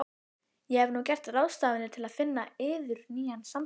Ég hef nú gert ráðstafanir til finna yður nýjan samastað.